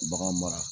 Bagan mara